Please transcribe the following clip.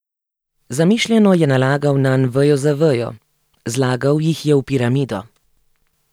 Zamišljeno je nalagal nanj vejo za vejo, zlagal jih je v piramido.